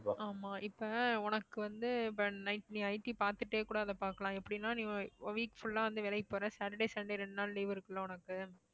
ஆமா இப்ப உனக்கு வந்து night நீ IT பாத்துட்டே கூட அத பாக்கலாம் எப்படின்னா நீ week full ஆ வந்து வேலைக்கு போற சாட்டர்டே சண்டே ரெண்டு நாள் leave இருக்குல்ல உனக்கு